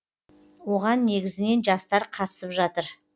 оған негізінен жастар қатысып жатыр